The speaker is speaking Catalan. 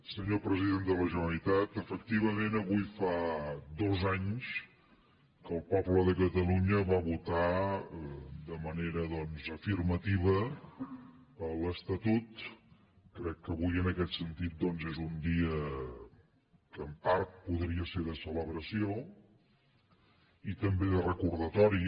senyor president de la generalitat efectivament avui fa dos anys que el poble de catalunya va votar de manera doncs afirmativa l’estatut crec que avui en aquest sentit és un dia que en part podria ser de celebració i també de recordatori